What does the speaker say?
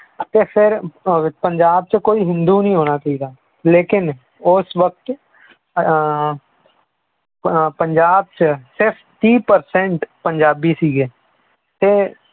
ਅਤੇ ਫਿਰ ਪੰਜਾਬ 'ਚ ਕੋਈ ਹਿੰਦੂ ਨਹੀਂ ਹੋਣਾ ਚਾਹੀਦਾ ਲੇਕਿੰਨ ਉਸ ਵਕਤ ਅਹ ਅਹ ਪੰਜਾਬ 'ਚ ਸਿਰਫ਼ ਤੀਹ percent ਪੰਜਾਬੀ ਸੀਗੇ ਤੇ